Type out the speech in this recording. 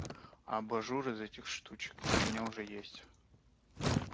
а абажур из этих штучек у меня уже есть